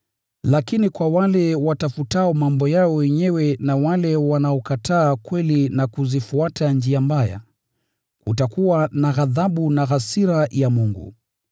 Lakini kwa wale watafutao mambo yao wenyewe na wale wanaokataa kweli na kuzifuata njia mbaya, kutakuwa na ghadhabu na hasira ya Mungu.